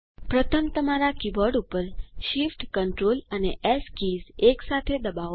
પ્રથમ તમારા કીબોર્ડ ઉપર shift સીએનટીઆરએલ અને એસ કીઝ એકસાથે ડબાઓ